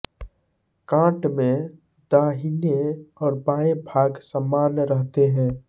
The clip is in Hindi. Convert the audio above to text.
काट में दाहिने और बाँयें भाग समान रहते हैं